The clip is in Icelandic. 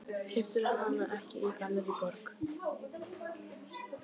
Keyptirðu hana ekki í Gallerí Borg?